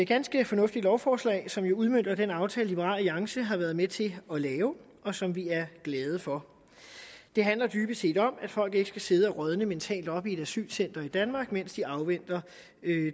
ganske fornuftigt lovforslag som jo udmønter den aftale som liberal alliance har været med til at lave og som vi er glade for det handler dybest set om at folk ikke skal sidde og rådne mentalt op i et asylcenter i danmark mens de afventer